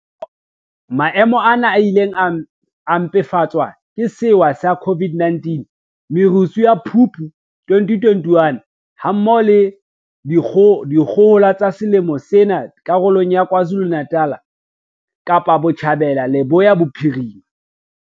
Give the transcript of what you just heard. Maemo ana a ile a mpefatswa ke sewa sa COVID-19, merusu ya Phupu 2021, ha mmoho le dikgohola tsa selemong sena karolong tsa KwaZulu-Natal, Kapa Botjhabela le Leboya Bophirima.